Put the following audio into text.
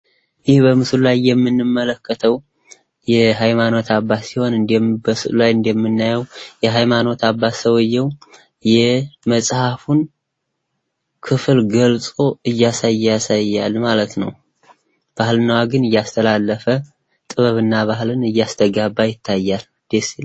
ይህ በምስሉ ላይ የምንመለከተዉ የሃይማኖት አባት ሲሆን ፤ በስእሉ ላይ እንደምናየው የሃይማኖት አባት ሰዉየዉ የመጸሀፉን ክፍል ገልጦ እያሳየ ያሳያል ማለት ነው። ባህል እና ወግን እያስተላለፈ ፤ ጥበብ እና ባህልን እያስተጋባ ይታያል። ደስ ይላል።